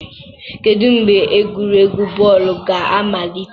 Kedu mgbe egwuregwu bọọlụ ga-amalite.